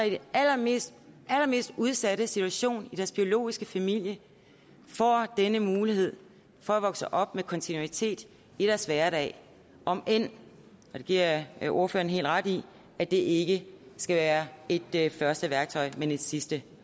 i den allermest udsatte situation i deres biologiske familie får denne mulighed for at vokse op med kontinuitet i deres hverdag om end og det giver jeg jeg ordføreren helt ret i at det ikke skal være et første værktøj men et sidste